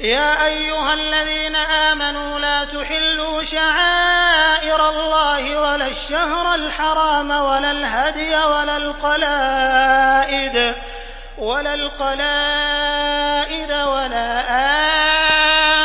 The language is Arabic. يَا أَيُّهَا الَّذِينَ آمَنُوا لَا تُحِلُّوا شَعَائِرَ اللَّهِ وَلَا الشَّهْرَ الْحَرَامَ وَلَا الْهَدْيَ وَلَا الْقَلَائِدَ وَلَا